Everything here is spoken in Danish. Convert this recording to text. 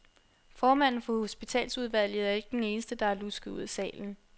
Formanden for hospitalsudvalget er ikke den eneste, der er lusket ud af salen.